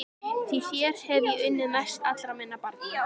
Því þér hef ég unnað mest allra minna barna.